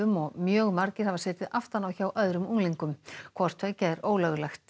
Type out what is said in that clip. og mjög margir hafa setið aftan á hjá öðrum unglingum hvort tveggja er ólöglegt